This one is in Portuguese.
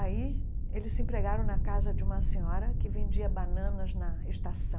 Aí eles se empregaram na casa de uma senhora que vendia bananas na estação.